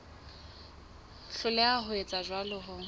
hloleha ho etsa jwalo ho